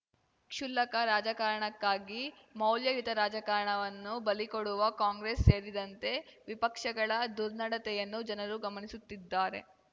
ಕ್ಷುಲ್ಲಕ ರಾಜಕಾರಣಕ್ಕಾಗಿ ಮೌಲ್ಯಯುತ ರಾಜಕಾರಣವನ್ನು ಬಲಿಕೊಡುವ ಕಾಂಗ್ರೆಸ್‌ ಸೇರಿದಂತೆ ವಿಪಕ್ಷಗಳ ದುರ್ನಡತೆಯನ್ನು ಜನರು ಗಮನಿಸುತ್ತಿದ್ದಾರೆ